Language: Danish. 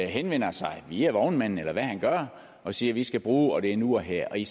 henvender sig via vognmanden eller hvad han gør og siger at vi skal bruge og det er nu og her vi